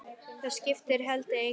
Það skipti heldur engu.